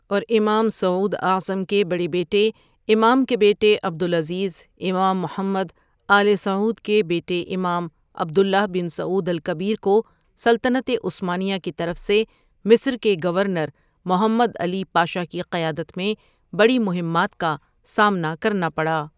اور امام سعود اعظم کے بڑے بیٹے، امام کے بیٹے عبدالعزیز، امام محمد آلِ سعود کے بیٹے امام عبداللہ بن سعود الکبیر کو سلطنتِ عثمانیہ کی طرف سے مصر کے گورنر محمد علی پاشا کی قیادت میں بڑی مہمات کا سامنا کرنا پڑا۔